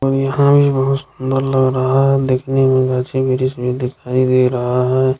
और यहाँ हमे बोहत सुंदर लग रहा दिखने में में दिखई दे रहा है।